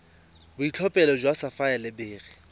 boitlhophelo jwa sapphire le beryl